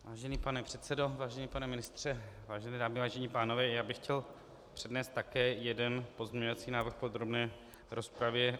Vážený pane předsedo, vážený pane ministře, vážené dámy, vážení pánové, já bych chtěl přednést také jeden pozměňovací návrh v podrobné rozpravě.